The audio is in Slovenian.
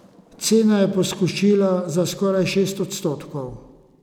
Cena je poskočila za skoraj šest odstotkov.